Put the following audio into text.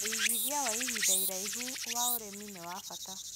Wĩgithia wa ihinda iraihu wa ũrĩmi nĩ wa bata